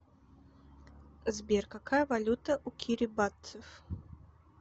сбер какая валюта у кирибатцев